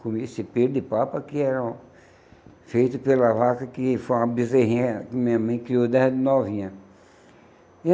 comia esse pêlo de papa que era feito pela vaca, que foi uma bezerrinha que minha mãe criou desde novinha.